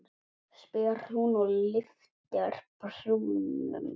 spyr hún og lyftir brúnum.